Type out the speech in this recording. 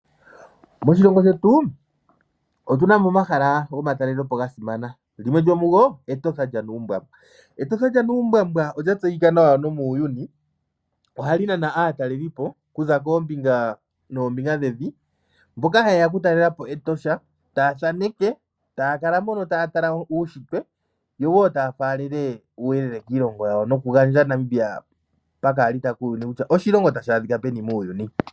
Moshilongo shetu otu na mo omahala gomatalelepo ga simana. Limwe lyomugo Etotha lyaNuumbwambwa. Etotha lyNuumbwambwa olya tseyika nawa nomuuyuni. Ohali nana aatalelipo kuza koombinga noombinga dhevi, mboka haye ya okutalela po Etosha taya thaneke taya kala moka taya tala uunshitwe, yo wo taya faalele uuyelele kiilongo yawo nokugandja Namibia pakaalita kuuyuni kutya oshilongo tashi adhika peni muuyuni.